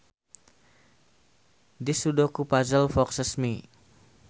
This Sudoku puzzle foxes me